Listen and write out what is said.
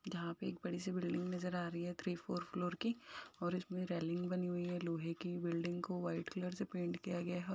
यहाँ पे एक बड़ी सी बिल्डिंग पर नजर आ रही है थ्री फोर फ्लोर की और उसमें रेलिंग बनी हुई है। लोहे की बिल्डिंग को व्हाइट कलर से पेंट किया गया है और --